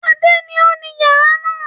Adé ni ó ni wáyà náà.